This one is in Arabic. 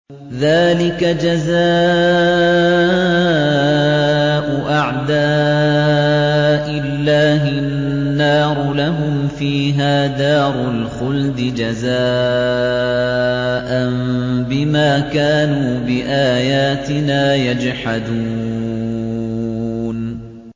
ذَٰلِكَ جَزَاءُ أَعْدَاءِ اللَّهِ النَّارُ ۖ لَهُمْ فِيهَا دَارُ الْخُلْدِ ۖ جَزَاءً بِمَا كَانُوا بِآيَاتِنَا يَجْحَدُونَ